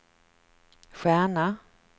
stjärna